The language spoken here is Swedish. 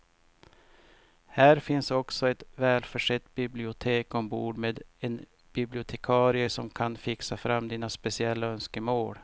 Här finns också ett välförsett bibliotek ombord med en bibliotekarie som kan fixa fram dina speciella önskemål.